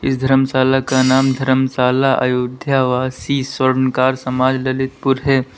इस धर्मशाला का नाम धर्मशाला अयोध्या आवासी स्वर्णकार समाज ललितपुर है।